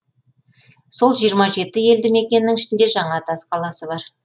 сол жиырма жеті елді мекеннің ішінде жаңатас қаласы бар